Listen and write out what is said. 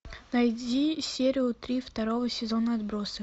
найди серию три второго сезона отбросы